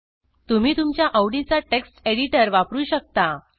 तुम्ही तुमच्या आवडीचा वापरू शकता